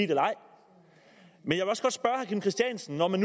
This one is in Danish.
herre kim christiansen når man